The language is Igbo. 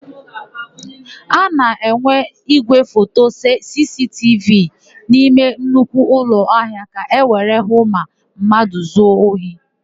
A na-enwe ígwéfoto sisitivi n'ime nnukwu ụlọahịa ka ewere hụ ma mmadụ zuo ohi.